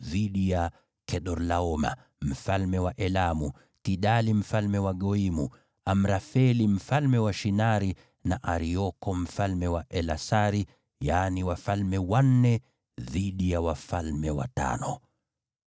dhidi ya Kedorlaoma, mfalme wa Elamu, Tidali mfalme wa Goimu, Amrafeli mfalme wa Shinari, na Arioko mfalme wa Elasari, yaani wafalme wanne dhidi ya wafalme watano.